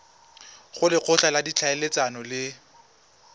go lekgotla la ditlhaeletsano le